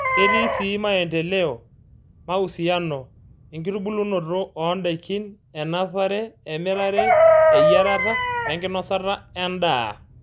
Ketii sii maendeleo, mausiano, enkitubulunoto ondaikin, enapare, emirare, eyiarata wenkinosata endaa.